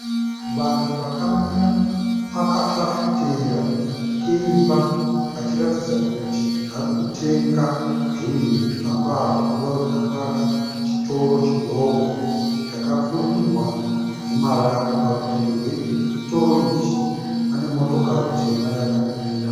Vanhu vakamira pakafafitera keimba vachiratidza kuti vari kutenga zvinhu mukamba aka, kureva kuti kamba aka chitoro chidoko chakapfurirwa nemarata. Parutivi rwe chitoro ichi pane motokari tema yakamira .